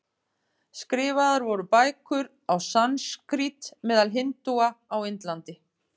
Skrifaðar voru bækur á sanskrít meðal hindúa á Indlandi.